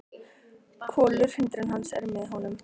Kolur, hundurinn hans, er með honum.